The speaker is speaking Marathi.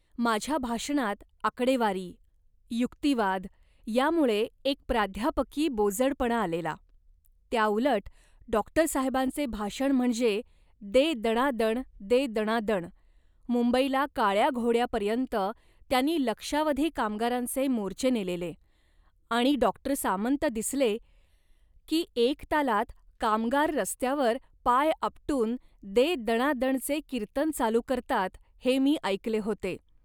माझ्या भाषणात आकडेवारी, युक्तिवाद यामुळे एक प्राध्यापकी बोजडपणा आलेला. त्याउलट, डॉक्टरसाहेबांचे भाषण म्हणजे 'दे दणादण, दे दणादण', मुंबईला काळ्या घोड्यापर्यंत त्यांनी लक्षावधी कामगारांचे मोर्चे नेलेले आणि डॉक्टर सामंत दिसले, की एक तालात कामगार रस्त्यावर पाय आपटून 'दे दणादण'चे कीर्तन चालू करतात हे मी ऐकले होते